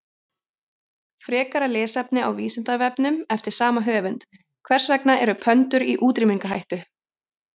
Frekara lesefni á Vísindavefnum eftir sama höfund: Hvers vegna eru pöndur í útrýmingarhættu?